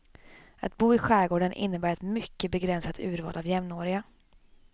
Att bo i skärgården innebär ett mycket begränsat urval av jämnåriga.